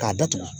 K'a datugu